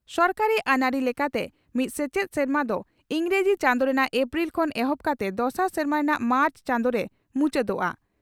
ᱥᱚᱨᱠᱟᱨᱤ ᱟᱹᱱᱟᱹᱨᱤ ᱞᱮᱠᱟᱛᱮ ᱢᱤᱫ ᱥᱮᱪᱮᱫ ᱥᱮᱨᱢᱟ ᱫᱚ ᱤᱸᱜᱽᱨᱟᱹᱡᱤ ᱪᱟᱸᱫᱚ ᱨᱮᱱᱟᱜ ᱮᱯᱨᱤᱞ ᱠᱷᱚᱱ ᱮᱦᱚᱵ ᱠᱟᱛᱮ ᱫᱚᱥᱟᱨ ᱥᱮᱨᱢᱟ ᱨᱮᱱᱟᱜ ᱢᱟᱨᱪ ᱪᱟᱸᱫᱚᱨᱮ ᱢᱩᱪᱟᱹᱫᱚᱜᱼᱟ ᱾